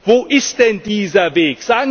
Wo ist denn dieser Weg?